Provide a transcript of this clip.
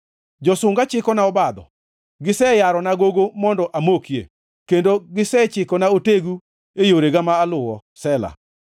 Josunga chikona obadho; giseyarona gogo mondo amokie, kendo gisechikona otegu e yorega ma aluwo. Sela